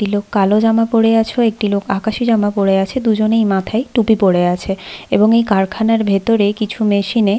একটি লোক কালো জামা পরে আছ একটি লোক আকাশি জামা পরে আছে দুজনেই মাথায় টুপি পরে আছে এবং এই কারখানার ভেতরে কিছু মেশিন - এ--